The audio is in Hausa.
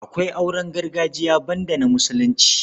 Akwai auren gargajiya banda na Musulunci.